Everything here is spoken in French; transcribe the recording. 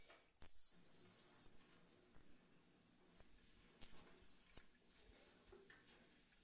Madame la Présidente, le vote de l'accord de libre échange avec le Viêt Nam est une très mauvaise nouvelle.